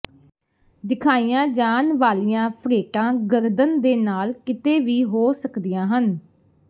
ਦਿਖਾਈਆਂ ਜਾਣ ਵਾਲੀਆਂ ਫ੍ਰੇਟਾਂ ਗਰਦਨ ਦੇ ਨਾਲ ਕਿਤੇ ਵੀ ਹੋ ਸਕਦੀਆਂ ਹਨ